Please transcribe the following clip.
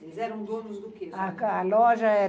Vocês eram donos do quê? A loja era